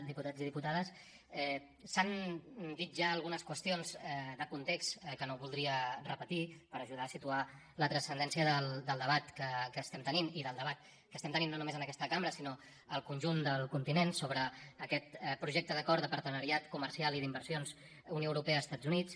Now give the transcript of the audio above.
diputats i diputades s’han dit ja algunes qüestions de context que no voldria repetir per ajudar a situar la transcendència del debat que estem tenint i del debat que estem tenint no només en aquesta cambra sinó al conjunt del continent sobre aquest projecte d’acord de partenariat comercial i d’inversions unió europea estats units